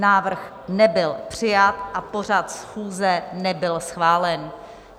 Návrh nebyl přijat a pořad schůze nebyl schválen.